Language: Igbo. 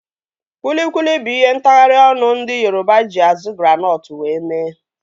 Kwilikwili bụ ihe ntagharị ọnụ ndị Yoroba eji azu granọtụ wee mee